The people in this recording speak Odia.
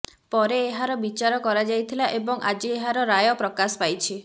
ପରେ ଏହାର ବିଚାର କରାଯାଇଥିଲା ଏବଂ ଆଜି ଏହାର ରାୟ ପ୍ରକାଶ ପାଂଇଛି